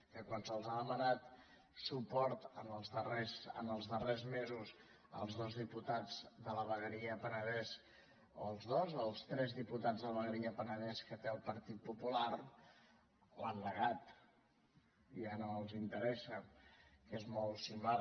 que quan se’ls ha demanat suport els darrers mesos als dos diputats de la vegueria del penedès als dos o als tres diputats de la ve gueria del penedès que té el partit popular l’han negat ja no els interessa que és molt similar